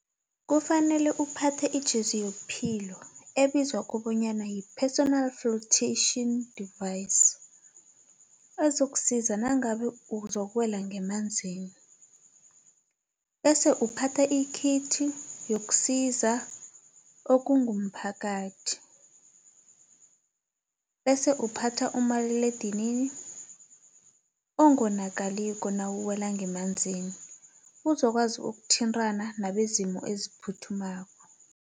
Kufanele uphathe ijezi yobuphilo ebizwa kobanyana yi-personal floatation device ezokusiza nangabe uzokuwehla ngemanzini bese uphatha ikhithi yokusiza okungumphakathi bese uphatha umaliledinini ongonakaliko nawuwela ngemanzini uzokwazi ukuthintana nabezimo eziphuthumako.